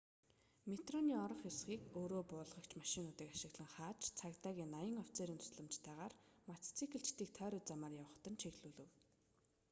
метроны орох хэсгийг өөрөө буулгагч машинуудыг ашиглан хааж цагдаагийн 80 офицерийн тусламжтайгаар мотоциклчидыг тойруу замаар явахад нь чиглүүлэв